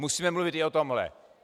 Musíme mluvit i o tomhle.